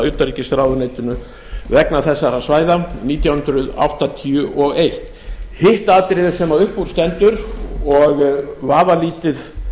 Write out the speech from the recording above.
utanríkisráðuneytinu vegna þessara svæða nítján hundruð áttatíu og eins hitt atriðið sem upp úr stendur og vafalítið